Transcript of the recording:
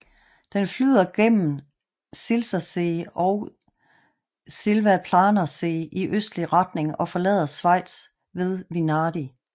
Den flyder gennem Silsersee og Silvaplanersee i østlig retning og forlader Schweiz ved Vinadi